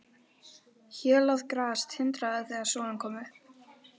Hélað gras tindraði þegar sólin kom upp.